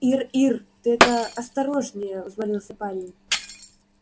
ир ир ты это осторожнее взмолился парень